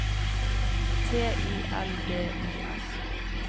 T I L B Y S